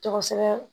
Tɔgɔ sɛbɛn